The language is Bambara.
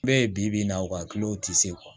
Bɛɛ ye bi-bi in na wa kulo ti se